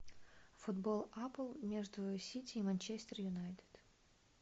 футбол апл между сити и манчестер юнайтед